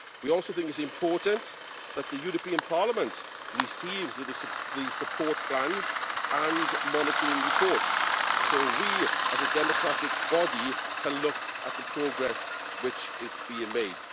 We also think it is important that Parliament receive the support plans and monitoring reports so that we, as a democratic body, can look at the progress which is being made.